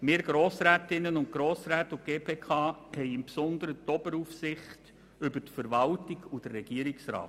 Wir Grossrätinnen und Grossräte, und insbesondere die GPK-Mitglieder, haben im Besonderen die Oberaufsicht über die Verwaltung und den Regierungsrat.